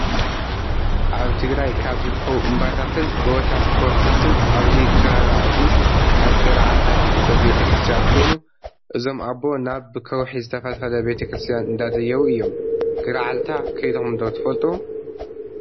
ኣብ ትግራይ ካብ ዝርከቡ እምባታትን ጎቦታት ከውሒታንን ኣብዚ ከበባ እዚ ኣብ ገራዓልታ ዝርከብ ቤተክርስትያን ኮይኑ እዞም ኣቦ ናብብከውሒ ዝተፈልፈለ ቤተክርስያን እንዳደየቡ እዮም። ገረዓልታ ከድኩም ዶ ትፈልጡ?